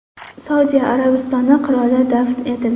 Saudiya Arabistoni qiroli dafn etildi.